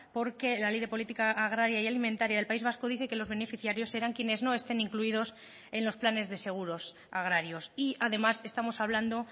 porque la ley de política agraria y alimentaria del país vasco dice que los beneficiarios eran quienes no estén incluidos en los planes de seguros agrarios y además estamos hablando